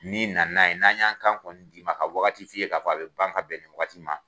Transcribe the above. Ni nana n'a ye n'an y'an kan kɔni d'i ma ka waati f'i ye k'a fɔ a bɛ ban ka bɛn ni waati in ma